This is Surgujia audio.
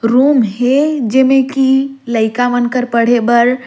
रूम है जेमें की लइका मन कर पढ़े भर--